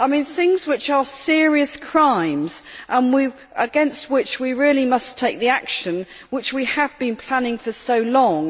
things which are serious crimes against which we really must take the action which we have been planning for so long.